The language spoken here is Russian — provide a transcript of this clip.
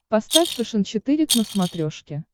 поставь фэшен четыре к на смотрешке